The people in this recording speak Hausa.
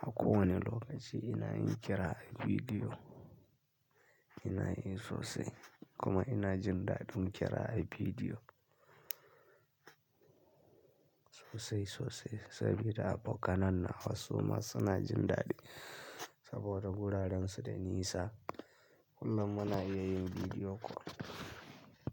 a kowane lokaci ina yin kira a bidiyo. Ina yi sosai kuma ina jin daɗin kira a bidiyo sosai sosai sabida abokanai na wasu ma suna jin daɗi saboda guraren su da nisa, kullmmuna iya yin bidiyo kol.